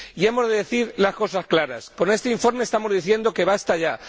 Y hemos de decir las cosas claras con este informe estamos diciendo que ¡basta ya!,